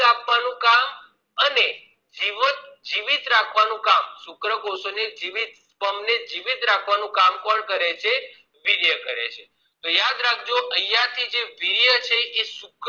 અને જીવન જીવીત રખવા નું કામ શુક્રકોષો ને જીવિત sperm રાખવાનું કામ કોણ કરે છે તો યાદ રાખજો અહિયાં થી જે વીર્ય છે